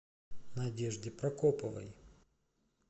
надежде прокоповой